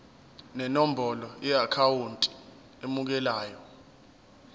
nenombolo yeakhawunti emukelayo